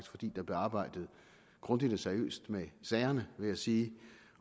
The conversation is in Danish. fordi der blev arbejdet grundigt og seriøst med sagerne vil jeg sige